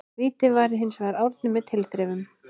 Vítið varði hinsvegar Árni með tilþrifum.